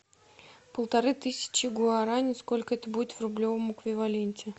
полторы тысячи гуарани сколько это будет в рублевом эквиваленте